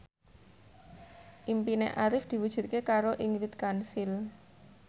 impine Arif diwujudke karo Ingrid Kansil